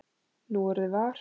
Núorðið var